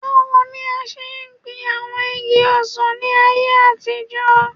Bawo ni a ṣe gbin awọn igi ọsàn ni ayé àtijọ́